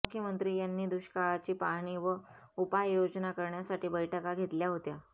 मुख्यमंत्री यांनी दुष्काळाची पाहणी व उपाययोजना करण्यासाठी बैठका घेतल्या होत्या